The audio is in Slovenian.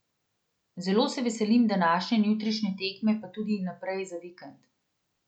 Zelo se veselim današnje in jutrišnje tekme pa tudi naprej za vikend.